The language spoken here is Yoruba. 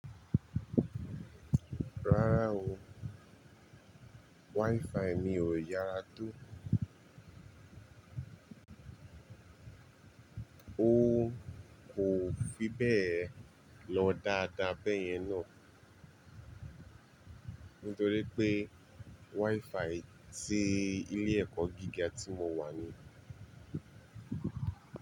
Rárá o, WiFi mi ò yára tó. Ó kò fi bẹ́ẹ̀ lọ dáadáa bẹ́yẹn náà. Nítorí pé WiFi ti ilé ẹ̀kọ́ gíga tí mo wà ni.